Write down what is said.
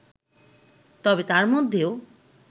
তবে তার মধ্যেও